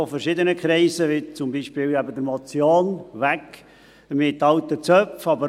Von verschiedenen Kreisen, zum Beispiel von der Motion «Weg mit alten Zöpfen [